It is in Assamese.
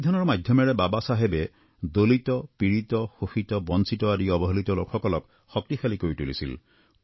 সংবিধানৰ মাধ্যমেৰে বাবা চাহেবে দলিত পীড়িত শোষিত আৰু বঞ্চিত আদি অৱহেলিত লোকসকলক শক্তিশালী কৰি তুলিছিল